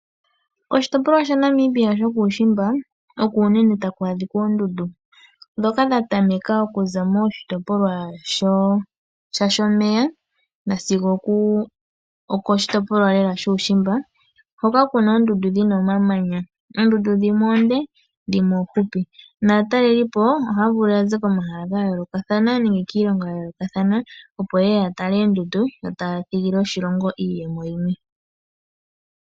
Oshitopolwa shaNamibia shokuushimba oko unene taku a dhika oondundu dhoka dhatameka oku za koshitopolwa shashOmeya nasigo oko shitopolwalela shuushimba, hoka kuna omamanya, oondundu dhimwe oonde, dhimwe ofupi naataleliipo ohaya vulu ya ze komahala gayoolokathana nenge kiilongo yayoolokathana opo ye ye yatale oondundu yo taya thigile oshilongo iiyemo yimwe.